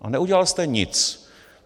A neudělal jste nic.